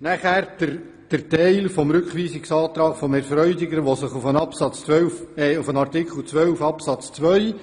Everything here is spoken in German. Was den Teil des Rückweisungsantrags von Grossrat Freudiger anbelangt, welcher sich auf Artikel 12 Absatz 2